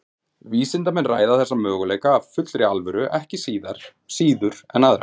Vísindamenn ræða þessa möguleika af fullri alvöru ekki síður en aðra.